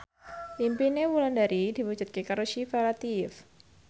impine Wulandari diwujudke karo Syifa Latief